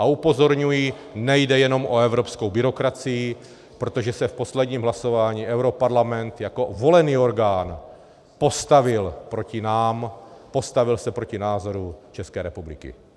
A upozorňuji, nejde jenom o evropskou byrokracii, protože se v posledním hlasování europarlament jako volený orgán postavil proti nám, postavil se proti názoru České republiky.